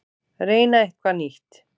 Reyna eitthvað nýtt.